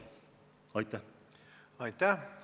Aitäh!